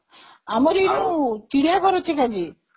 ଆମରି କୋଉ ଚିଡିଆଘର ଅଛି ନା କି?